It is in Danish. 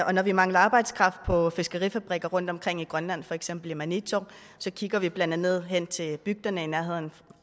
og når vi mangler arbejdskraft på fiskerifabrikker rundtomkring i grønland for eksempel i maniitsoq kigger vi blandt andet hen til bygderne i nærheden